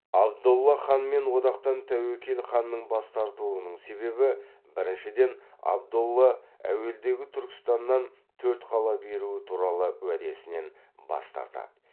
абдолла ханмен одақтан тәуекел ханның бас тартуының себебі біріншіден абдолла әуелдегі түркістаннан төрт қала беруі туралы уәдесінен бас тартады